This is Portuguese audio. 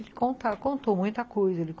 Ele contar contou muita coisa.